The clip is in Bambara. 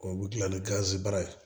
Olu dilan ni gazibara ye